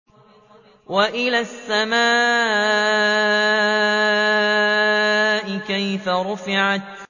وَإِلَى السَّمَاءِ كَيْفَ رُفِعَتْ